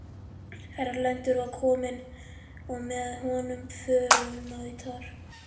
Erlendur var kominn og með honum förunautar.